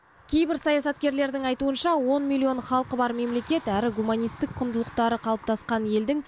кейбір саясаткерлердің айтуынша он миллион халқы бар мемлекет әрі гуманистік құндылықтары қалыптасқан елдің